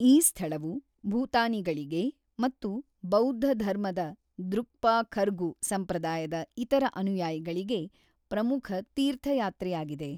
ಈ ಸ್ಥಳವು ಭೂತಾನಿಗಳಿಗೆ ಮತ್ತು ಬೌದ್ಧಧರ್ಮದ ದ್ರುಕ್ಪಾ ಖರ್ಗು ಸಂಪ್ರದಾಯದ ಇತರ ಅನುಯಾಯಿಗಳಿಗೆ ಪ್ರಮುಖ ತೀರ್ಥಯಾತ್ರೆಯಾಗಿದೆ.